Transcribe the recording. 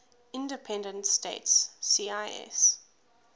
independent states cis